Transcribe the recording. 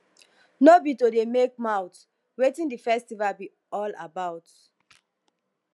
no be to dey make mouth wetin the festival be all about